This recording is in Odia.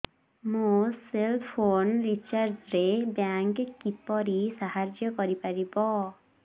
ମୋ ସେଲ୍ ଫୋନ୍ ରିଚାର୍ଜ ରେ ବ୍ୟାଙ୍କ୍ କିପରି ସାହାଯ୍ୟ କରିପାରିବ